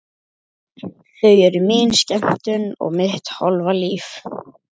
Þau eru mín skemmtun og mitt hálfa líf.